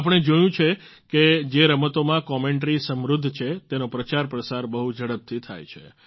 આપણે જોયું છે કે જે રમતોમાં કોમેન્ટરી સમૃદ્ધ છે તેનો પ્રચારપ્રસાર બહુ ઝડપથી થાય છે